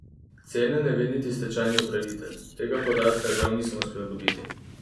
Cene ne ve niti stečajni upravitelj: "Tega podatka žal nisem uspel dobiti.